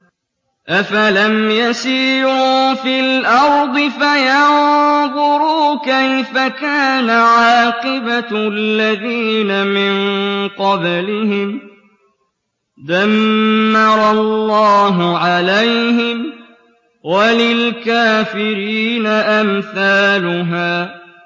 ۞ أَفَلَمْ يَسِيرُوا فِي الْأَرْضِ فَيَنظُرُوا كَيْفَ كَانَ عَاقِبَةُ الَّذِينَ مِن قَبْلِهِمْ ۚ دَمَّرَ اللَّهُ عَلَيْهِمْ ۖ وَلِلْكَافِرِينَ أَمْثَالُهَا